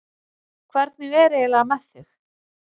Hvernig er eiginlega með þig?